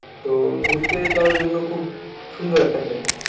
তো ঘুরতে যাওয়ার জন্য খুব সুন্দর একটা জায়গা।